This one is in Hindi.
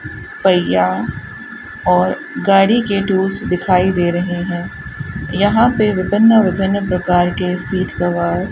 पहिया और गाड़ी के टूल्स दिखाई दे रहे हैं यहां पे विभिन्न विभिन्न प्रकार के सीट कवर --